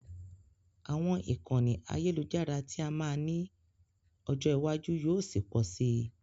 Àwọn ìkànnì àyẹ́lujára tí a máa ní ọjọ́ ìwájú yóò ṣi pọ si.